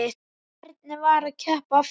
Hvernig var að keppa aftur?